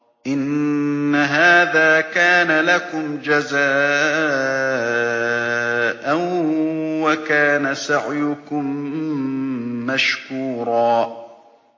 إِنَّ هَٰذَا كَانَ لَكُمْ جَزَاءً وَكَانَ سَعْيُكُم مَّشْكُورًا